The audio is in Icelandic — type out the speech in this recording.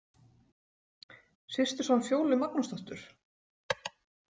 Systurson Fjólu Magnúsdóttur?